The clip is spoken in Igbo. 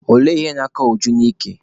Olee ihe na-akọ Uju n'ike?